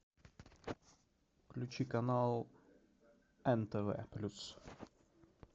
включи канал нтв плюс